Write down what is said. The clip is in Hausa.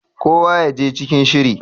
kowa ya je cikin shiri!